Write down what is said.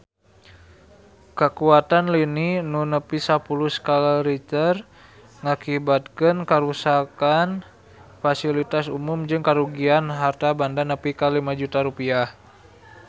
Kakuatan lini nu nepi sapuluh skala Richter ngakibatkeun karuksakan pasilitas umum jeung karugian harta banda nepi ka 5 juta rupiah